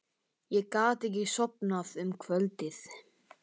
Ég gat ekki sofnað um kvöldið.